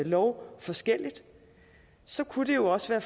lov forskelligt så kunne det jo også være